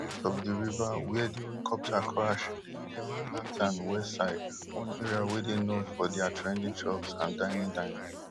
di part of di river wia di helicopter crash dey near manhattan west side one area wey dey known for dia trendy shops and dining dining